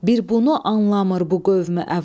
Bir bunu anlamır bu qövmü əvam.